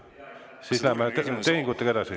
Siis läheme edasi.